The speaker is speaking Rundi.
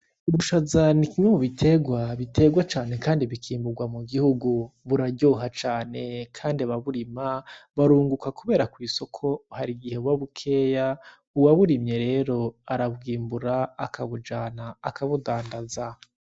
Ubushaza ni kimwe mu biterwa, biterwa cane kandi bikimburwa mu gihugu. Buraryoha cane kandi ababurima barunguka kubera kw'isoko harigihe buba bukeya. Uwaburimye rero arabwimbura akabujana, akabudandaza.